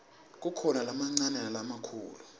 kukhona lamancane nalamakhulu